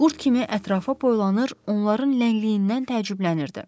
Qurd kimi ətrafa boylanır, onların ləngliyindən təəccüblənirdi.